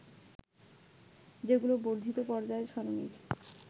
যেগুলো বর্ধিত পর্যায় সারণীর